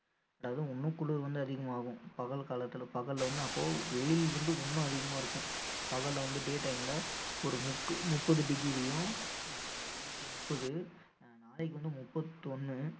அதாவது இன்னும் குளிர் வந்து அதிகமாகும். பகல் காலத்துல பகல்ல வந்து அப்போ வெயில் வந்து இன்னும் அதிகமா இருக்கும் பகல்ல வந்து day time ல ஒரு முக்கு~ முப்பது degree யும் ஆஹ் இன்னைக்கு முப்பது அஹ் நாளைக்கு வந்து முப்பத்தொன்னு